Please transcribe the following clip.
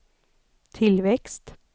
tillväxt